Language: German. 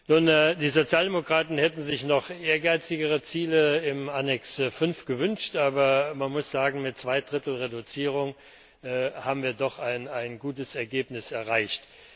Nun, die Sozialdemokraten hätten sich noch ehrgeizigere Ziele im Anhang5 gewünscht, aber man muss sagen, mit zwei Drittel Reduzierung haben wir doch ein gutes Ergebnis erreicht.